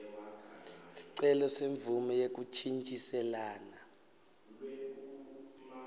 sicelo semvumo yekuntjintjiselana